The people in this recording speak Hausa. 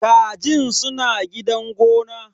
Kajin suna gidan gona.